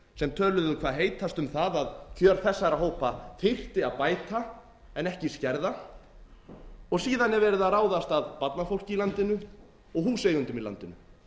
sem töluðu hvað heitast um það að kjör þessara hópa þyrfti að bæta en ekki skerða síðan er verið að ráðast að barnafólki í landinu og húseigendum í landinu